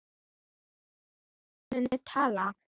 Ég mun tala.